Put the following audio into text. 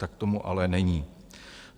Tak tomu ale není.